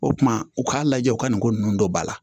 O kumana u k'a lajɛ u ka nin ko ninnu don ba la